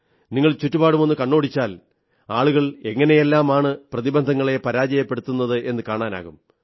നിങ്ങൾ ചുറ്റുപാടും കണ്ണോടിച്ചാൽ ആളുകൾ എങ്ങനെയെല്ലാമാണ് പ്രതിബന്ധങ്ങളെ പരാജയപ്പെടുത്തുന്നതെന്നു കാണാനാകും